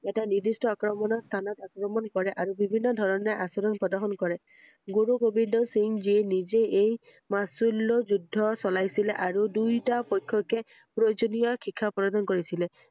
এটা নিৰ্দ্দিস্ট আক্ৰমণৰ স্হানত আক্ৰমণ কৰে ৷আৰু বিভিন্ন ধৰণে আচৰণ প্ৰদৰ্শন কৰে৷ গুৰু গোবিন্দ সিং যিয়ে এই নিজে মাচুল্য যুদ্ব চলাইছিলে আৰু দুয়োটা পক্ষকে প্ৰয়োজনীয় শিক্ষা প্ৰদান কৰিছিলে৷